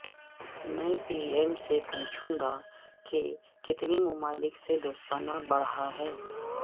میں P M سے پوچھوگا کہ کتنے ممالک سے دوستانہ بڑھا ہے